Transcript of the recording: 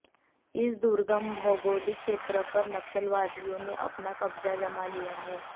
इस दुर्गम भौगोलिक क्षेत्र पर नक्सलवादियो ने अपना कब्जा जमा लिया है